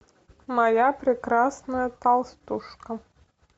моя прекрасная толстушка